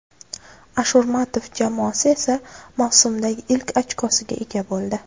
Ashurmatov jamoasi esa mavsumdagi ilk ochkosiga ega bo‘ldi.